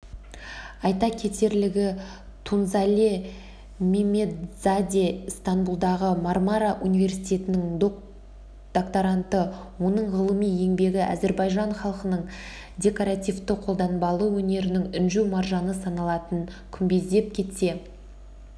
айта кетерлігі тунзале меммедзаде ыстанбұлдағы мармара университетінің доктаранты оның ғылыми еңбегі әзербайжан халқының декоративті-қолданбалы өнерінің інжу-маржаны саналатын күмбездеп кесте